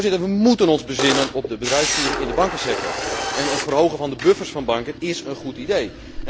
Voorzitter, wij moeten ons bezinnen op de bedrijfsvoering in de bankensector en het verhogen van de buffers van banken is een goed idee.